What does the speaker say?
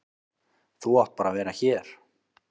Þú átt bara að vera hér.